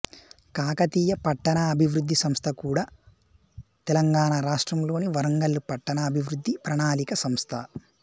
కాకతీయ పట్టణ అభివృద్ధి సంస్థ కుడా తెలంగాణ రాష్ట్రంలోని వరంగల్లు పట్టణ అభివృద్ధి ప్రణాళిక సంస్థ